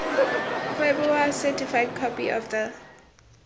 kgweboa certified copy of the